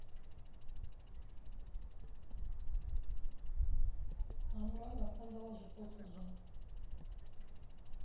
ha murangaphana wa zwipotso zwa